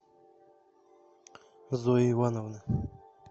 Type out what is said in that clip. зои ивановны